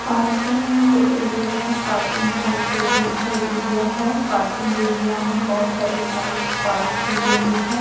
Parking area हैं parking का एक रोड साइड एरिया हैं पार्किंग एरिया में बहोत सारी बाइक्स पार्क की गई हैं।